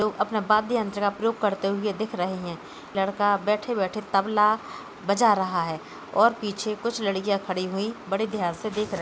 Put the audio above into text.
अपना बाद्दयन्त्र का प्रयोग करते हुए दिख रहें हैं | लड़का बैठे-बैठे तबला बजा रहा है और पीछे कुछ लड़किया खड़ी हुई बड़े ध्यान से देख रही --